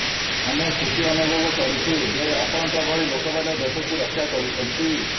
ଆମେ ଖୁସି ଅନୁଭବ କରୁଛୁ ଯେ ଆପଣଙ୍କ ଭଳି ଲୋକମାନେ ଦେଶକୁ ରକ୍ଷା କରୁଛନ୍ତି